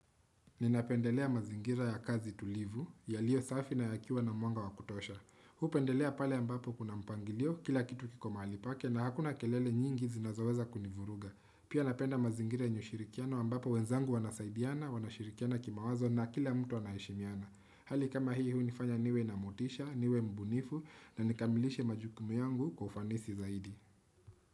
Ninapendelea mazingira ya kazi tulivu, yaliyo safi na yakiwa na mwanga wa kutosha. Hupendelea pale ambapo kuna mpangilio, kila kitu kiko mahali pake na hakuna kelele nyingi zinazoweza kunivuruga. Pia napenda mazingira yenye ushirikiano ambapo wenzangu wanasaidiana, wanashirikiana kimawazo na kila mtu anaheshimiana. Hali kama hii hu unifanya niwe na motisha, niwe mbunifu na nikamilishe majukumu yangu kwa ufanisi zaidi.